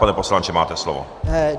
Pane poslanče, máte slovo.